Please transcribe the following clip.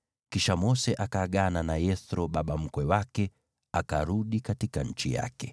Kisha Mose akaagana na Yethro baba mkwe wake, naye akarudi kwa nchi yake.